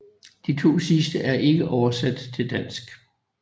De to sidste er ikke oversat til dansk